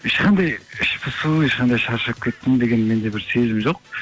ешқандай іш пысу ешқандай шаршап кеттім деген менде бір сезім жоқ